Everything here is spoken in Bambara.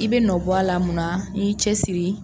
I bɛ nɔ bɔ a la mun na, n'i y'i cɛ siri.